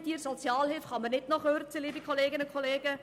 Bei den Sozialhilfebezügern kann man nicht noch Kürzungen vornehmen.